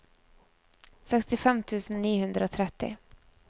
sekstifem tusen ni hundre og tretti